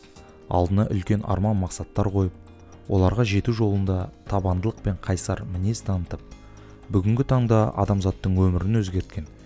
алдына үлкен арман мақсаттар қойып оларға жету жолында табандылық пен қайсар мінез танытып бүгінгі таңда адамзаттың өмірін өзгерткен